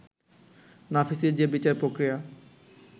নাফিসের যে বিচার প্রক্রিয়া